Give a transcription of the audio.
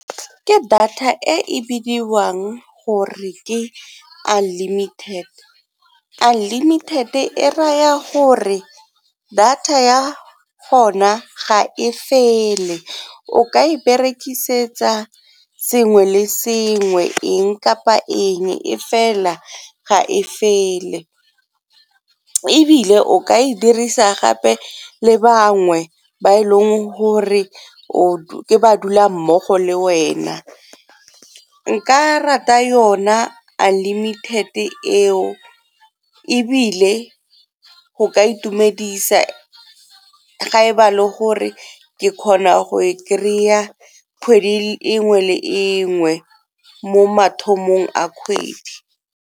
Ke data e bidiwang gore ke unlimited, unlimited-e e raya gore data ya gona ga e fele o ka e berekisetsa sengwe le sengwe, eng kapa eng e fela ga e fele. Ebile o ka e dirisa gape le bangwe ba e leng gore ke badulammogo le wena. Nka rata yona unlimited eo ebile go ka itumedisa ga e ba le gore ke kgona go e kry-a kgwedi engwe le engwe mo mathomong a kgwedi.